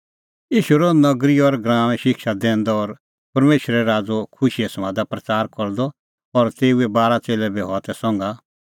ईशू रहअ नगरी और गराऊंऐं शिक्षा दैंदअ और परमेशरे राज़ो खुशीए समादा प्रच़ार करदअ और तेऊए बारा च़ेल्लै बी हआ तै संघा